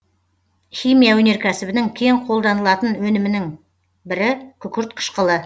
химия өнеркәсібінің кең қолданылатын өнімнің бірі күкірт қышқылы